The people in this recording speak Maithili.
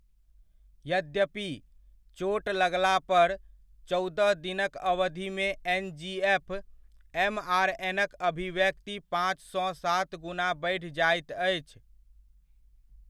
यद्यपि, चोट लगलापर, चौदह दिनक अवधिमे एनजीएफ एमआरएन'क अभिव्यक्ति पाँचसँ सात गुना बढ़ि जाइत अछि।